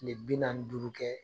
Kile bi naani ni duuru kɛ